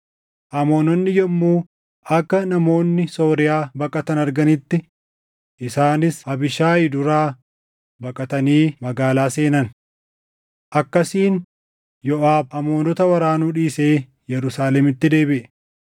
Amoononni yommuu akka namoonni Sooriyaa baqatan arganitti isaanis Abiishaayi duraa baqatanii magaalaa seenan. Akkasiin Yooʼaab Amoonota waraanuu dhiisee Yerusaalemitti deebiʼe.